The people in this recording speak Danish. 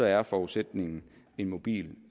er forudsætningen en mobil